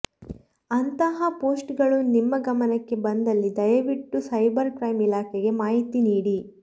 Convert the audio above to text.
ಅಂತಹ ಪೋಸ್ಟ್ಗಳು ನಿಮ್ಮ ಗಮನಕ್ಕೆ ಬಂದಲ್ಲಿ ದಯವಿಟ್ಟು ಸೈಬರ್ ಕ್ರೈಂ ಇಲಾಖೆಗೆ ಮಾಹಿತಿ ನೀಡಿ